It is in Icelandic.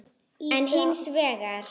en hins vegar